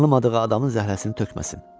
Tanımadığı adamın zəhrəsini tökməsin.